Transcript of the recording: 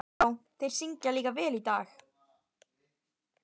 Já, og þeir syngja líka vel í dag.